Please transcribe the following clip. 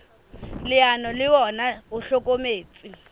leano le ona o hlokometse